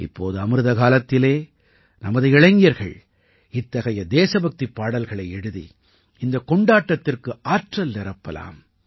இப்போது அமிர்தகாலத்தில் நமது இளைஞர்கள் இத்தகைய தேசபக்திப் பாடல்களை எழுதி இந்தக் கொண்டாட்டத்திற்கு ஆற்றல் நிரப்பலாம்